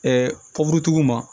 tigiw ma